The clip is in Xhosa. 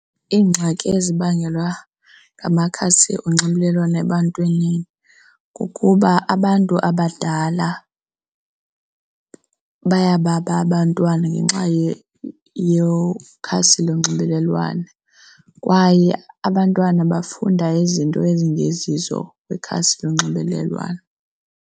Iingxaki ezibangelwa ngamakhasi onxibelelwano ebantwini kukuba abantu abadala bayababa abantwana ngenxa yokhasi lonxibelelwano kwaye abantwana bafunda izinto ezingezizo kwikhasi lonxibelelwano.